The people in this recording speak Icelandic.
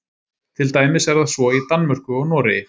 til dæmis er það svo í danmörku og noregi